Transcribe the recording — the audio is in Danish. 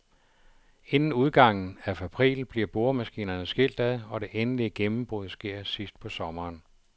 Inden udgangen af april bliver boremaskinerne skilt ad, og det endelige gennembrud sker sidst på sommeren.